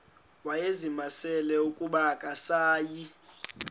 wayezimisele ukuba akasayi